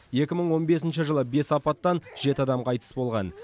екі мың он бесінші жылы бес апаттан жеті адам қайтыс болған